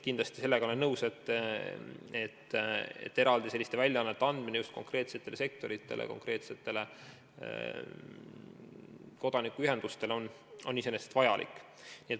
Kindlasti olen nõus, et sellised väljaanded konkreetsetele sektoritele, konkreetsetele kodanikuühendustele on iseenesest vajalikud.